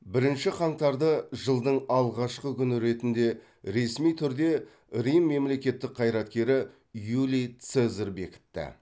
бірінші қаңтарды жылдың алғашқы күні ретінде ресми түрде рим мемлекеттік қайраткері юлий цезарь бекітті